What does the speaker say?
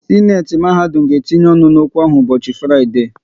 Sịnate mahadum ga etinye ọnụ n'okwu ahụ ụbọchị Fraịdee